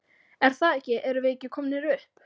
Er það ekki erum við ekki komnir upp?